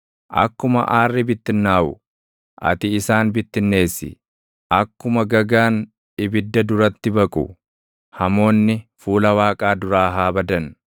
Akkuma aarri bittinnaaʼu, ati isaan bittinneessi; akkuma gagaan ibidda duratti baqu, hamoonni fuula Waaqaa duraa haa badan.